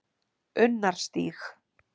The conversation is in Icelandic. Unnarstíg